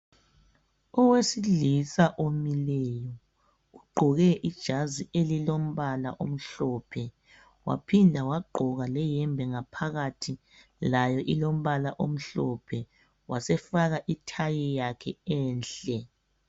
owesilisa omileyo ugqoke ijazi elilombala omhlophe waphinda wagqoka le yembe phakathi layo ilombala omhlophe wasefaka i tie yakhe enhle